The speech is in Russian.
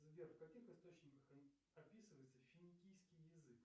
сбер в каких источниках описывается финикийский язык